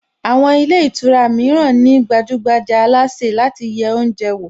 Àwọn ilé ìtura mìíràn ní gbajúgbajà alásè láti yẹ oúnjẹ wò